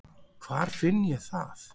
Hvar finn ég það?